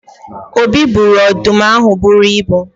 obi gburu ọdụm ahụ buru ibu